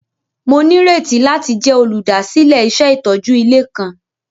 Mo nírètí láti jẹ olúdásílẹ̀ iṣẹ itójú ilé kan.